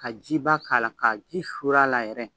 Ka jiba k'a la ka ji suuru a la yɛrɛ